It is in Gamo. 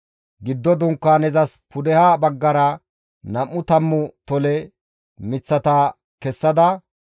Giddo Dunkaanezas pudeha baggara, nam7u tammu tole miththata kessada,